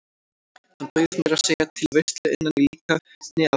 Hann bauð meira að segja til veislu innan í líkani af risaeðlu.